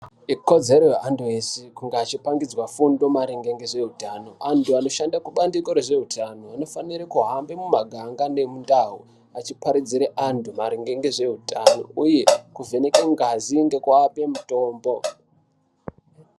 Ikodzero yeantu eshe kunge eipangidzwe fundo maringe ngezveutano. Antu anoshande kubandiko rezveutano anofanirwe kuhamba mumaganga nemundau echiparidzire antu maringe ngezveutano uye kuvhenekwe ngazi pamwe ngekuape mutombo.